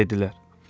Dedilər: